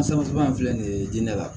Saba in filɛ nin ye diinɛ la